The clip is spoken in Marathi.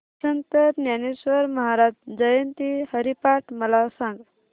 संत ज्ञानेश्वर महाराज जयंती हरिपाठ मला सांग